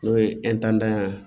N'o ye ye